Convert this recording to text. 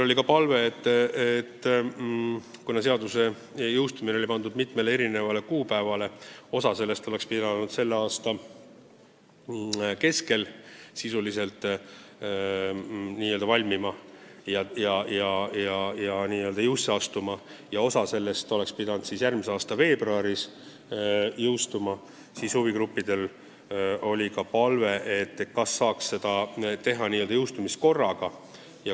Kuna seaduse jõustumine oli pandud mitmele kuupäevale – osa sellest oleks pidanud kehtima hakkama selle aasta keskel ja osa järgmise aasta veebruaris –, siis oli huvigruppidel palve jõustada kogu tekst korraga.